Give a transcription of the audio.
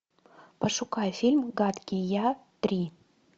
пошукай фильм гадкий я три